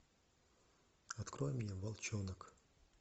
открой мне волчонок